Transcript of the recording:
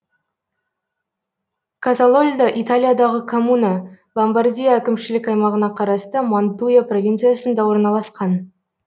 казалольдо италиядағы коммуна ломбардия әкімшілік аймағына қарасты мантуя провинциясында орналасқан